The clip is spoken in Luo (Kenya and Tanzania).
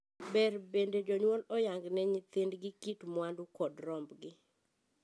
Ber bende jonyuol oyangne nyithindgi kit mwandu kod rombgi.